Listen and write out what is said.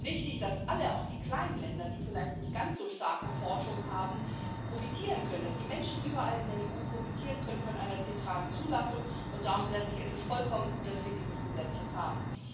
Es ist wichtig, dass alle, auch die kleinen Länder, die vielleicht nicht ganz so starke Forschung haben, profitieren können, dass die Menschen überall in der EU von einer zentralen Zulassung profitieren können. Darum, denke ich, ist es vollkommen gut, dass wir dieses Gesetz jetzt haben.